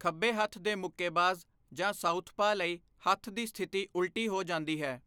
ਖੱਬੇ ਹੱਥ ਦੇ ਮੁੱਕੇਬਾਜ਼ ਜਾਂ 'ਸਾਊਥਪਾ' ਲਈ ਹੱਥ ਦੀ ਸਥਿਤੀ ਉਲਟੀ ਹੋ ਜਾਂਦੀ ਹੈ।